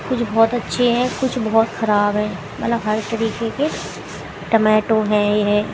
कुछ बहुत अच्छे है कुछ बहुत खराब है मतलब हर तरीके के टोमेटो है यह।